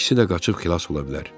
İkisi də qaçıb xilas ola bilər.